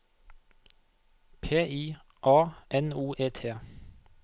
P I A N O E T